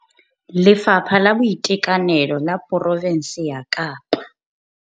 Lefapha la Boitekanelo la porofense ya Kapa.